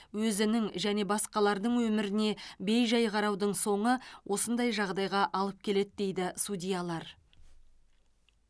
өзінің және басқалардың өміріне бей жай қараудың соңы осындай жағдайға алып келеді дейді судьялар